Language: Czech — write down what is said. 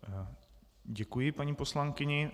Děkuji, paní poslankyni.